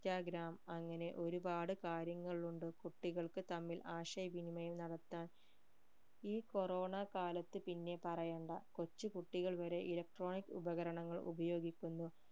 Instagram അങ്ങനെ ഒരുപാട് കാര്യങ്ങൾ ഉണ്ട് കുട്ടികൾക്ക് തമ്മിൽ ആശയവിനിമയം നടത്താൻ ഈ corona കാലത്ത് പിന്നെ പറയണ്ട കൊച്ചു കുട്ടികൾ വരെ electronic ഉപകാരങ്ങൾ ഉപയോഗിക്കുന്നു